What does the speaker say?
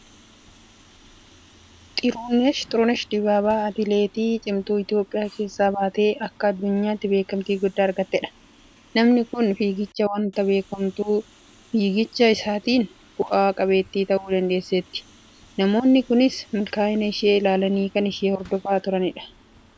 Xirunesh Dibaabaa Atileetii cimtuu Itoophiyaa keessaa baatee akka addunyaatti beekamtii guddaa argattedha. Namni kun fiigichaan waanta beekamtuuf fiigicha isheetiin bu'a qabeettii ta'uu dandeesseetti. Namoonni kaanis milkaa'ina ishee ilaalanii kan ishee hordofan baay'eedha.